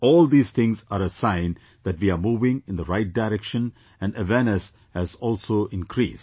All these things are a sign that we are moving in the right direction and awareness has also increased